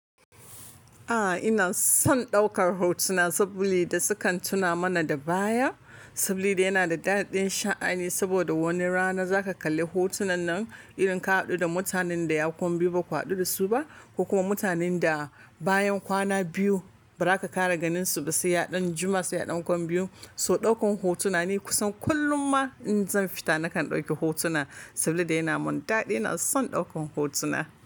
A'a ina son ɗaukar hotuna saboda da sukan tuna mana da baya, saboda yana da daɗin sha'ani saboda wani rana za ka kalli hotunan nan irin ka haɗu da mutanen da ya kwan biyu ba ka haɗu da su ba ko kuma mutanen da bayan kwana biyu ba za ka kara ganin su ba sai ya ɗan juma sai ya ɗan kwan biyu. So ɗaukan hotuna ni kusan kullum ma in zan fita nakan ɗauki hotuna saboda yana mun daɗi. Ina son ɗaukan hotuna.